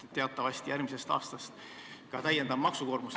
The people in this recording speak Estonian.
Teatavasti järgmisest aastast lisandub ka täiendav maksukoormus.